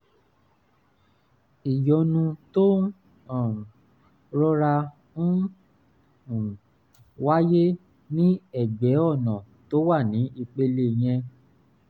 ìyọnu tó um rọra ń um wáyé ní ẹ̀gbẹ́ ọ̀nà tó wà ní ìpele yẹn